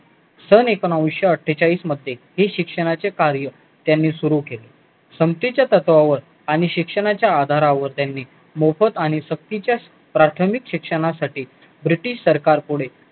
सन एकोणीशे अट्ठेचाळीस मध्ये हेच शिक्षणाचे कार्य त्यांनी सुरु केले समतेच्या तत्वावर आणि शिक्षणाच्या आधारावर त्यांनी मोफत आणि सक्तीच्या प्राथमिक शिक्षणासाठी सरकारपुढे